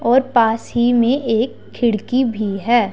और पास ही में एक खिड़की भी है।